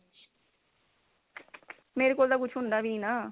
ਮੇਰੇ ਕੋਲ ਤਾਂ ਕੁੱਝ ਹੁੰਦਾ ਵੀ ਨੀ ਨਾ